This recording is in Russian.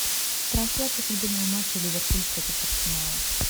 трансляция футбольного матча ливерпуль против арсенала